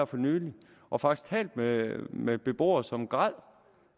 for nylig og faktisk talt med med beboere som græd